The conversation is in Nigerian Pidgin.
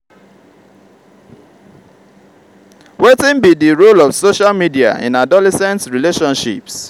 wetin be di role of social media in adolescent relationships?